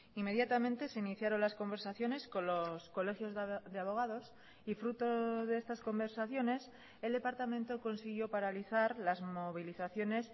inmediatamente se iniciaron las conversaciones con los colegios de abogados y fruto de estas conversaciones el departamento consiguió paralizar las movilizaciones